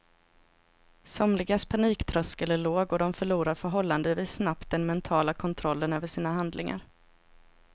Somligas paniktröskel är låg och de förlorar förhållandevis snabbt den mentala kontrollen över sina handlingar.